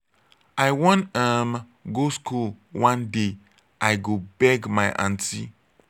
i wan um go school one one day. i go beg my aunty.